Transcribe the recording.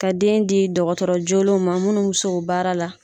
Ka den di dɔgɔtɔrɔ jolenw ma munnu b'u se o baara la.